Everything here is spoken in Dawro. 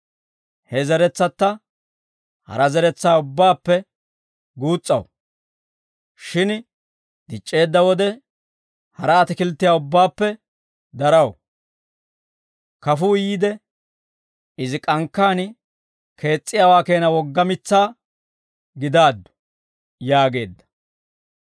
He zeretsata hara zeretsaa ubbaappe guus's'aw; shin dic'c'eedda wode, hara atakilttiyaa ubbaappe daraw; kafuu yiide, izi k'ankkaan kees's'iyaawaa keena wogga mitsaa gidaaddu» yaageedda.